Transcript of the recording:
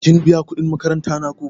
Kin biya kuɗin makaranta na ko?